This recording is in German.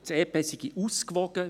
Das EP sei ausgewogen;